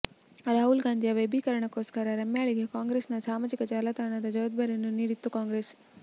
ರಾಹುಲ್ ಗಾಂಧಿಯ ವೈಭವೀಕರಣಕ್ಕೋಸ್ಕರ ರಮ್ಯಾಳಿಗೆ ಕಾಂಗ್ರೆಸ್ನ ಸಾಮಾಜಿಕ ಜಾಲತಾಣದ ಜವಬ್ಧಾರಿಯನ್ನು ನೀಡಿತ್ತು ಕಾಂಗ್ರೆಸ್